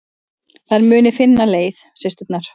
Þær muni finna leið, systurnar.